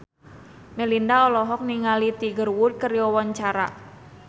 Melinda olohok ningali Tiger Wood keur diwawancara